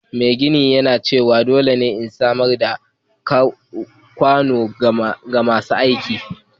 Mai gini ya nace dole ne in samar da kwanon kai da shebur ga masu aikin